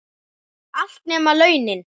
Allt, nema launin.